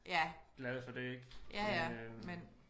Glade for det ik øh